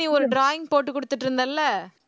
நீ ஒரு drawing போட்டு குடுத்துட்டு இருந்தல்ல